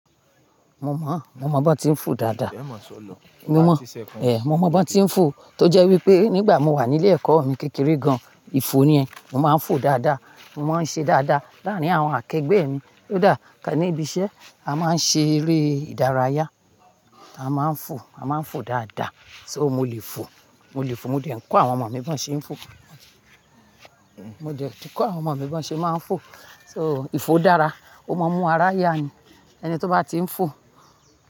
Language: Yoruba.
Mo mọ, mo mọ bá ti ń fò dáadáa. Mi o mọ, è, mo mọ bá ti ń fò. Tó jẹ́ wípé nígbà mo wà nílé ẹ̀kọ́ mi kékeré gan-an, ìfò ni ẹ́. Mo máa ń fò dáadáa, mo máa ń ṣe dáadáa. Láàárín àwọn akegbe mi, kó dáa, níbi iṣẹ́, a máa ń ṣe eré ìdárayá. A máa ń fò, a máa ń fò dáadáa. So mo lè fò, mo lè fò. Mo dè ń kọ́ àwọn ọmọ mi bá ń ṣe é ń fò. Mo dè tí kọ́ àwọn ọmọ mi bá ń ṣe máa ń fò. So ìfò dára, ó máa ń mú ara yá ni. Ẹni tó bá ti ń fò.